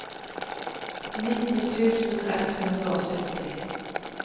nitti tusen ett hundre og sytti